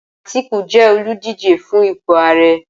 Atiku jẹ́ olùdíje fún ipò Ààrẹ.